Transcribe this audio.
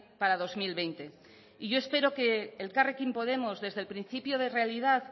para dos mil veinte y yo espero que elkarrekin podemos desde el principio de realidad